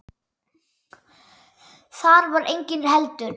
Þar var enginn heldur.